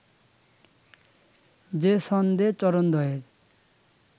যে ছন্দে চরণদ্বয়ের